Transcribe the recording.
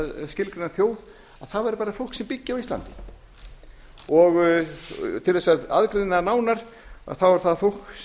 skilgreina þjóð að það væri bara fólk sem byggi á íslandi og til að aðgreina nánar þá er það fólk sem